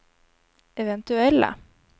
eventuella